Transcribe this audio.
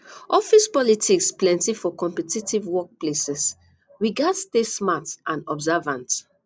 office politics plenty for competitive workplaces we gats stay smart and observant